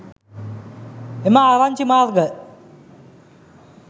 එම ආරංචි මාර්ග